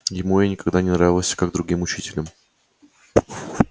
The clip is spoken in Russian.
ему я никогда не нравился как другим учителем